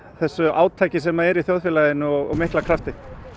þessu átaki sem er almennt í þjóðfélaginu og mikla krafti